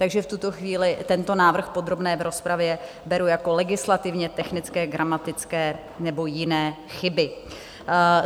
Takže v tuto chvíli tento návrh v podrobné rozpravě beru jako legislativně technické, gramatické nebo jiné chyby.